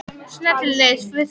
Sunna til liðs við Fram